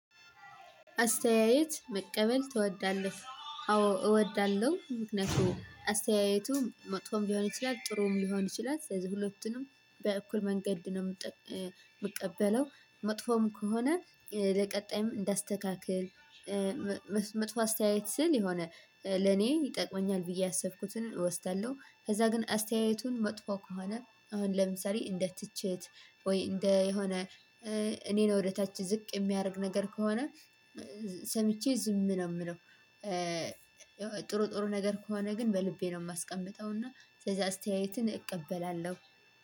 አስተያየት መቀበል ትወዳለህ? አዎ እወዳለሁ። ምክንያቱም አስተያየቱ መጥፎም ሊሆን ይችላል ጥሩም ሊሆን ይችላል ስለዚህ ሁለቱንም በእኩል መንገድ ነው ምቀበለው። መጥፎም ከሆነ ለቀጣይም እንዳስተካክል መጥፎ አስተያየት ስል የሆነ ለኔ ይጠቅመኛል ብዬ ያሰብኩትን እወስዳለሁ። ከዛ ግን አስተያየቱን መጥፎ ከሆነ አሁን ለምሳሌ እንደ ትችት ወይ እንደ የሆነ እኔ ነው ወደ ታች ዝቅ የሚያደርግ ነገር ከሆነ ሰምቼ ዝም ነው የምለው። ጥሩ ጥሩ ነገር ከሆነ ግን በልቤ ነው የማስቀምጠው እና ስለዚህ አስተያየትን እቀበላለሁ።